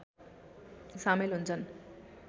सामेल हुन्छन्